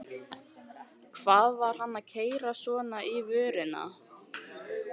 Hvað var hann að keyra svona inn í vörnina?